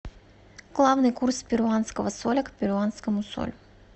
главный курс перуанского соля к перуанскому солю